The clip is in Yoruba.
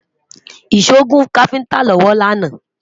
ìsọ gùn kafinta lọwọ lànà